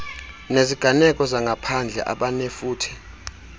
neziganeko zangaphandle abanefuthe